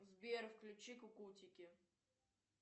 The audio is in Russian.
сбер включи кукутики